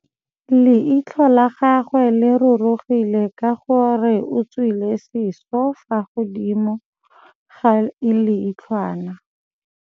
Leitlhô la gagwe le rurugile ka gore o tswile sisô fa godimo ga leitlhwana.